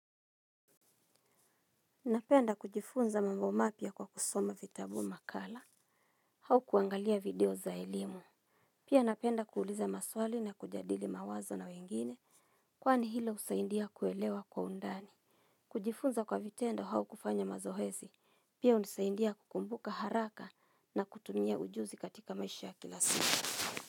Napenda kujifunza mambo mapya kwa kusoma vitabu makala. Au kuangalia video za elimu pia napenda kuuliza maswali na kujadili mawazo na wengine. Kwani hilo husaidia kuelewa kwa undani. Kujifunza kwa vitendo au kufanya mazoezi pia hunisaidia kukumbuka haraka na kutumia ujuzi katika maisha ya kila siku.